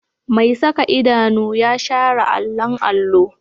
Mai saka idanu ya share allon allo